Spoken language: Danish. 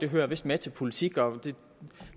hører vist med til politik og det